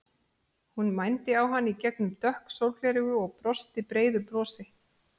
Hún mændi á hann í gegnum dökk sólgleraugu og brosti breiðu brosi.